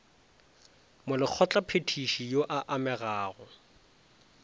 molekgotla phethiši yo a amegago